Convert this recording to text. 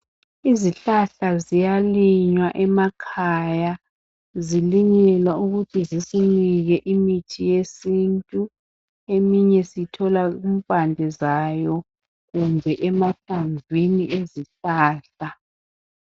Izihlahla ziyalinywa emakhaya zilinyelwa ukuthi zisinike imithi yesintu .Eminye siyithola kumpande zayo kumbe emahlamvini ezihlahla.